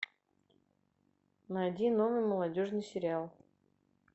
найди новый молодежный сериал